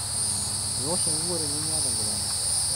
Miwosh enkukuo tinimiata enkipante.